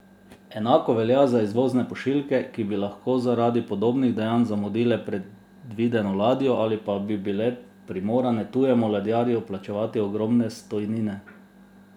Enako velja za izvozne pošiljke, ki bi lahko zaradi podobnih dejanj zamudile predvideno ladjo ali pa bi bile primorane tujemu ladjarju plačevati ogromne stojnine!